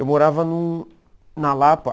Eu morava num na Lapa.